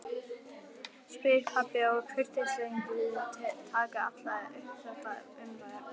spyr pabbi og í kurteisisskyni taka allir upp þetta umræðuefni